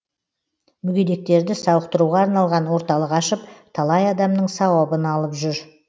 мүгедектерді сауықтыруға арналған орталық ашып талай адамның сауабын алып жүр